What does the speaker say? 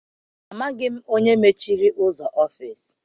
Amaghị m onye mechiri ụzọ ọfịịsi.